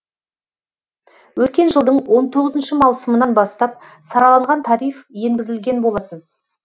өткен жылдың он тоғызыншы маусымынан бастап сараланған тариф енгізілген болатын